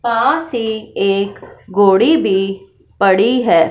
पास ही एक कोड़ी भी पड़ी है।